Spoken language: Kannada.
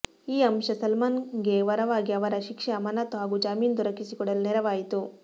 ಈ ಅಂಶ ಸಲ್ಮಾನ್ ಗೆ ವರವಾಗಿ ಅವರ ಶಿಕ್ಷೆ ಅಮಾನತು ಹಾಗೂ ಜಾಮೀನು ದೊರಕಿಸಿಕೊಡಲು ನೆರವಾಯಿತು